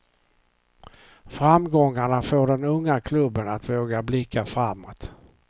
Framgångarna får den unga klubben att våga blicka framåt.